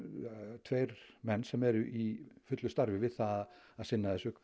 tveir menn sem eru í fullu starfi við það að sinna þessu